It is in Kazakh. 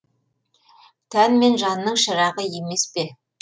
тән мен жанның шырағы емес пе